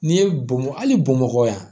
N'i ye bɔn ali bamakɔ yan